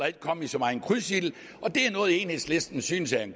ikke komme i så meget krydsild og det er noget enhedslisten synes er en